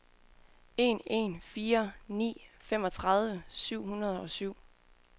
en en fire ni femogtredive syv hundrede og syv